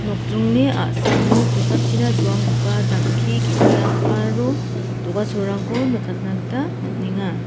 nokdringni a·samo kosakchina doanggipa jang·ki ge·sa aro do·gacholrangko nikatna gita man·enga.